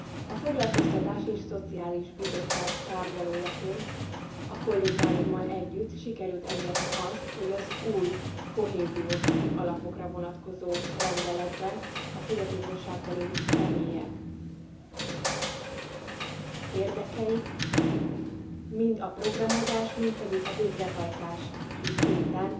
A Foglalkoztatási és Szociális Bizottság tárgyalójaként a kollégáimmal együtt sikerült elérni azt, hogy az új kohéziós alapokra vonatkozó rendeletben a fogyatékossággal élő személyek érdekei mind a programozás mind pedig a végrehajtási szinten